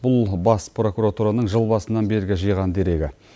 бұл бас прокуратураның жыл басынан бергі жиған дерегі